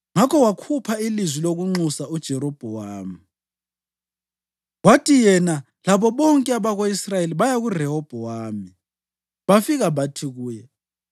Ngakho bakhupha ilizwi lokunxusa uJerobhowamu; kwathi yena labo bonke abako-Israyeli baya kuRehobhowami bafika bathi kuye: